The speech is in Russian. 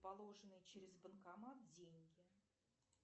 положенные через банкомат деньги